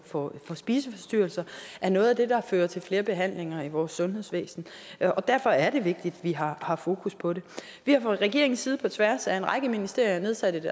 for spiseforstyrrelser er noget af det der fører til flere behandlinger i vores sundhedsvæsen og derfor er det vigtigt at vi har har fokus på det vi har fra regeringens side på tværs af en række ministerier nedsat et